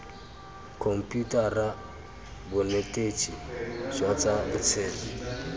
khomputara bonetetshi jwa tsa botshelo